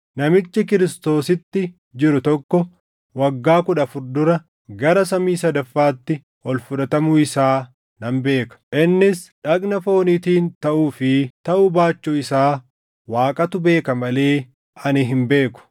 Namichi Kiristoositti jiru tokko waggaa kudha afur dura gara samii sadaffaatti ol fudhatamuu isaa nan beeka. Innis dhagna fooniitiin taʼuu fi taʼuu baachuu isaa Waaqatu beeka malee ani hin beeku.